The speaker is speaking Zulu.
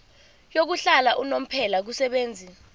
yokuhlala unomphela kubenzi